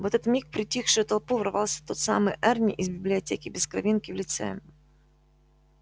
в этот миг в притихшую толпу ворвался тот самый эрни из библиотеки без кровинки в лице